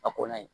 A kɔnna ye